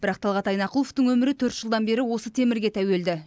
бірақ талғат айнақұловтың өмірі төрт жылдан бері осы темірге тәуелді